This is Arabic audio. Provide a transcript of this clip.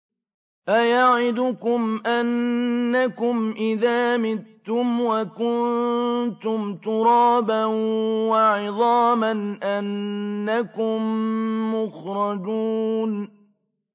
أَيَعِدُكُمْ أَنَّكُمْ إِذَا مِتُّمْ وَكُنتُمْ تُرَابًا وَعِظَامًا أَنَّكُم مُّخْرَجُونَ